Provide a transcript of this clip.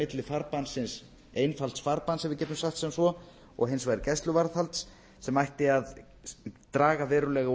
milli einfalds farbanns ef við getum sagt sem svo og hins vegar gæsluvarðhalds sem ætti að draga verulega úr